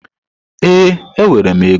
Ee, enwere m ego.